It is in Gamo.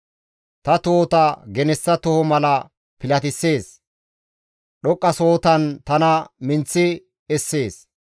Ta tohota genessa toho mala pilatisees; dhoqqasohotan tana minththi essees.